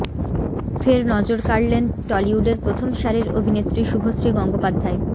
ফের নজর কাড়লেন টলিউডের প্রথম সারির অভিনেত্রী শুভশ্রী গঙ্গোপাধ্যায়